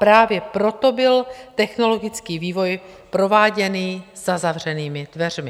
Právě proto byl technologický vývoj prováděný za zavřenými dveřmi.